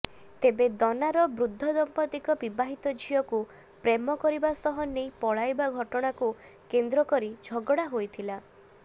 ତେବେ ଦନାର ବୃଦ୍ଧ ଦମ୍ପତିଙ୍କ ବିବାହିତ ଝିଅକୁ ପ୍ରେମକରିବା ସହ ନେଇ ପଳାଇବା ଘଟଣାକୁକେନ୍ଦ୍ର କରି ଝଗଡା ହୋଇଥିଲା